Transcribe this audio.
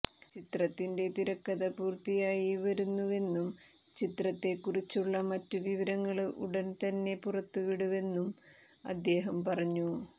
ചിത്രത്തിന്റെ തിരക്കഥ പൂര്ത്തിയായി വരുന്നുവെന്നും ചിത്രത്തെക്കുറിച്ചുള്ള മറ്റ് വിവരങ്ങള് ഉടന് തന്നെ പുറത്തുവിടുവെന്നും അദ്ധേഹം പറഞ്ഞു